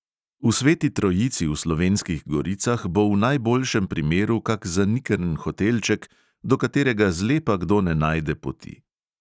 V sveti trojici v slovenskih goricah bo v najboljšem primeru kak zanikrn hotelček, do katerega zlepa kdo ne najde poti.